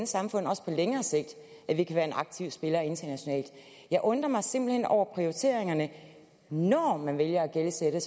samfund også på længere sigt at vi kan være en aktiv spiller internationalt jeg undrer mig simpelt hen over prioriteringerne når man vælger at gældsætte